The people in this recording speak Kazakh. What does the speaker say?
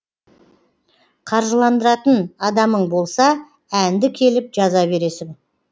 қаржыландыратын адамың болса әнді келіп жаза бересің